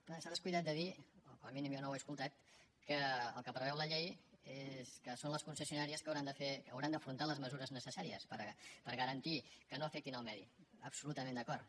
clar s’ha descuidat de dir o com a mínim jo no ho he escoltat que el que preveu la llei és que són les concessionàries que hauran d’afrontar les mesures necessàries per garantir que no afectin el medi absolutament d’acord